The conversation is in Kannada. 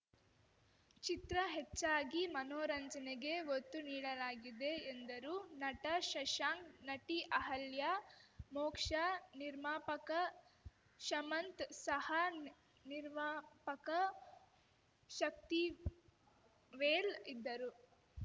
ಚಿತ್ರ ಹೆಚ್ಚಾಗಿ ಮನೋರಂಜನೆಗೆ ಒತ್ತು ನೀಡಲಾಗಿದೆ ಎಂದರು ನಟ ಶಶಾಂಕ ನಟಿ ಅಹಲ್ಯಮೋಕ್ಷಾ ನಿರ್ಮಾಪಕ ಶಮಂತ್‌ ಸಹ ನಿ ನಿರ್ಮಾಪಕ ಶಕ್ತಿವೇಲ್‌ ಇದ್ದರು